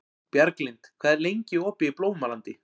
Bjarglind, hvað er lengi opið í Blómalandi?